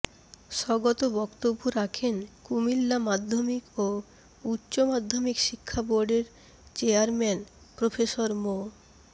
স্বগত বক্তব্য রাখেন কুমিল্লা মাধ্যমিক ও উচ্চমাধ্যমিক শিক্ষাবোর্ডের চেয়ারম্যান প্রফেসর মো